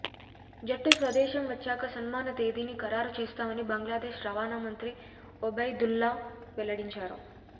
జట్టు స్వదేశం వచ్చాక సన్మాన తేదీని ఖరారు చేస్తామని బంగ్లాదేశ్ రవాణా మంత్రి ఒబైదుల్లా వెల్లడించారు